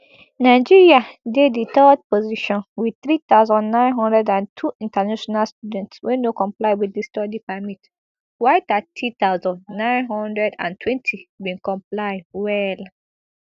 nigeriadey di third position wit three thousand, nine hundred and two international students wey no comply wit di study permit while thirty thousand, nine hundred and twenty bin comply well